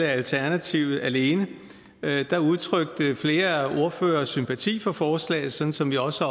af alternativet alene udtrykte flere ordførere sympati for forslaget sådan som vi også